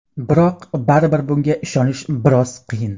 Biroq baribir bunga ishonish biroz qiyin.